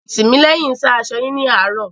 Tìmílẹ́hìn sá aṣọ yín ní àárò.